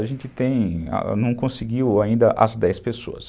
A gente tem, não conseguiu ainda as dez pessoas.